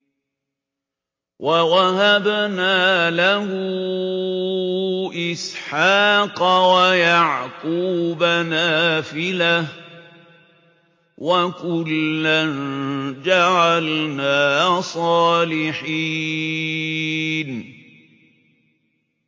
وَوَهَبْنَا لَهُ إِسْحَاقَ وَيَعْقُوبَ نَافِلَةً ۖ وَكُلًّا جَعَلْنَا صَالِحِينَ